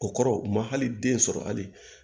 O kɔrɔ u ma hali den sɔrɔ hali